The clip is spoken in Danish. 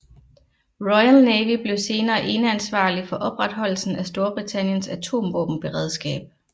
Royal Navy blev senere eneansvarlig for opretholdelsen af Storbritanniens atomvåbenberedskab